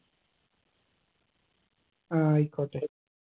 ആയിക്കോട്ടെ